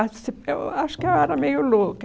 eu acho que eu era meio louca.